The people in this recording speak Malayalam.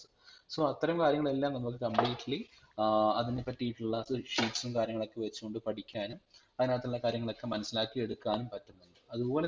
so അത്തരം കാര്യങ്ങളെല്ലാം നമ്മൾക് completely ഏർ അതിനെ പറ്റിട്ടുള്ള ഒരു sheets ഉം കാര്യങ്ങളൊക്കെ വെച്ചു കൊണ്ട് പഠിക്കാനും അതിനകത്തുള്ള കാര്യങ്ങളൊക്കെ മനസ്സിലാക്കി എടുക്കാനും പറ്റും